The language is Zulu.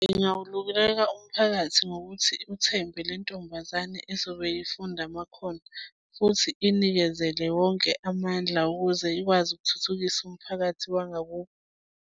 Ngingawululeka umphakathi ngokuthi uthembe lentombazane ezobe ufunda amakhono, futhi inikezele wonke amandla ukuze ikwazi ukuthuthukisa umphakathi wangakubo.